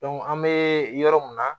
an bɛ yɔrɔ mun na